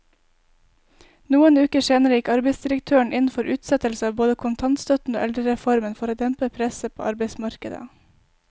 Noen uker senere gikk arbeidsdirektøren inn for utsettelse av både kontantstøtten og eldrereformen for å dempe presset på arbeidsmarkedet.